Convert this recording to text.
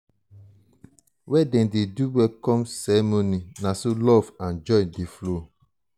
where dem dey do welcome ceremony na so love and joy dey flow.